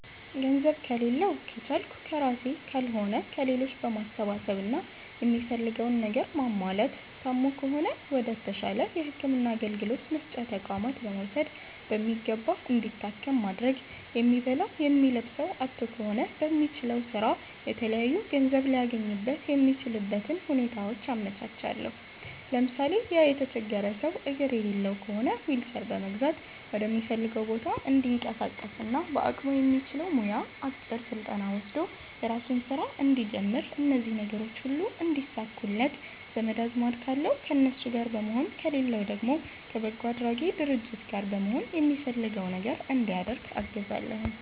ገንዘብ ከሌላዉ ከቻልኩ ከራሴ ካልሆነ ከሌሎች በማሰባሰብ እና የሚፈልገዉን ነገር ማሟላት ታሞ ከሆነ ወደ ተሻለ የህክምና አገልግሎት መስጫ ተቋማት በመዉሰድ በሚገባ እንዲታከም ማድረግ የሚበላዉ የሚለብሰዉ አጥቶ ከሆነ በሚችለዉ ስራ የተለያዩ ገንዘብ ሊያገኝበት የሚችልበትን ሁኔታዎች አመቻቻለሁ ለምሳሌ፦ ያ የተቸገረ ሰዉ አግር የሌለዉ ከሆነ ዊልቸር በመግዛት ወደሚፈልገዉ ቦታ እንዲንቀሳቀስና በአቅሙ የሚችለዉ ሙያ አጭር ስልጠና ወስዶ የራሱን ስራ እንዲጀምር እነዚህ ነገሮች ሁሉ እንዲሳኩለት ዘመድ አዝማድ ካለዉ ከነሱ ጋር በመሆን ከሌለዉ ደግሞ ከበጎ አድራጊ ድርጅት ጋር በመሆን የሚፈልገዉ ነገር እንዲያደርግ አግዛለሁኝ